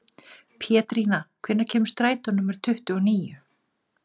Pétrína, hvenær kemur strætó númer tuttugu og níu?